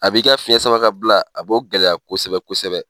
A b'i ka fiyɛn samakabila a bɔ gɛlɛya kosɛbɛ kosɛbɛ.